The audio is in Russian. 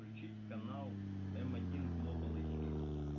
включить канал один глобал ажди